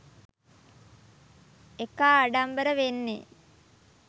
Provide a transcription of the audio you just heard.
එකා ආඩම්බර වෙන්නේ